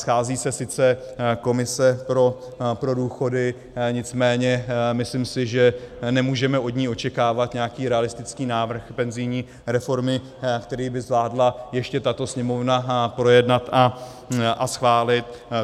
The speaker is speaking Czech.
Schází se sice komise pro důchody, nicméně myslím si, že nemůžeme od ní očekávat nějaký realistický návrh penzijní reformy, který by zvládla ještě tato Sněmovna projednat a schválit.